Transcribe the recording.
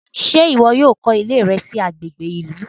Ṣe iwọ yóò kọ iley rẹ sí agbègbè ìlú?